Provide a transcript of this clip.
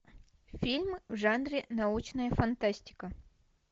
фильмы в жанре научная фантастика